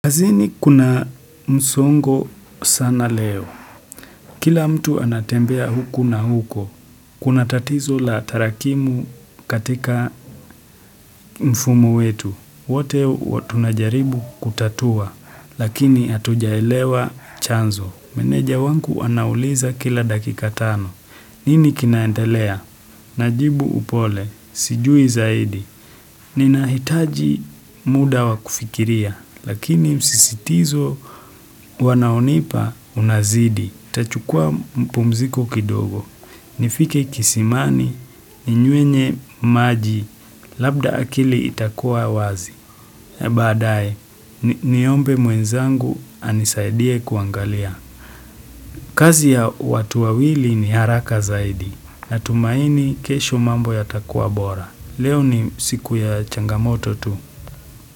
Kazini kuna msongo sana leo. Kila mtu anatembea huku na huko. Kuna tatizo la tarakimu katika mfumu wetu. Wote tunajaribu kutatua, lakini hatujaelewa chanzo. Meneja wangu anauliza kila dakika tano. Nini kinaendelea? Najibu upole, sijui zaidi. Ninahitaji muda wa kufikiria, Lakini msisitizo wanaonipa unazidi. Tachukua mpumziko kidogo. Nifike kisimani, ninyuenye maji, labda akili itakuwa wazi. Baadaye, niombe mwenzangu anisaidie kuangalia. Kazi ya watu wawili ni haraka zaidi. Natumaini kesho mambo yatakuwa bora. Leo ni siku ya changamoto tu.